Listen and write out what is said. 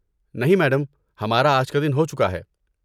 نہیں، میڈم، ہمارا آج کا دن ہو چکا ہے۔